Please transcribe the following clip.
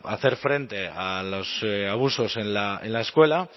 hacer frente a los abusos en la escuela